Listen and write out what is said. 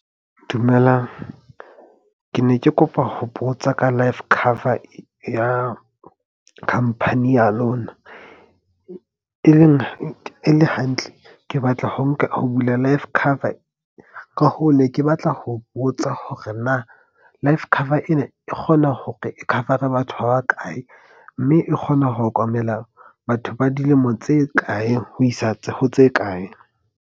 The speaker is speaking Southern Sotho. Dumelang. Ke ne ke kopa ho botsa ka life cover ya khampani ya lona. E leng e le hantle ke batla ho bula life cover ka hoo ne ke batla ho botsa hore na life cover ena e kgona hore e cover-are batho ba ba kae. Mme e kgona ho okomela batho ba dilemo tse kae ho isa ho tse kae.